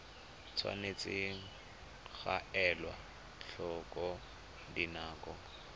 tshwanetse ga elwa tlhoko dinako